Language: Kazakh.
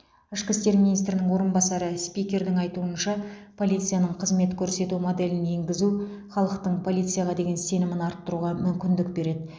ішкі істер министрінің орынбасары спикердің айтуынша полицияның қызмет көрсету моделін енгізу халықтың полицияға деген сенімін арттыруға мүмкіндік береді